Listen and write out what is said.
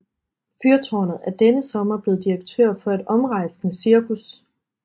Fyrtårnet er denne sommer blevet direktør for et omrejsende cirkus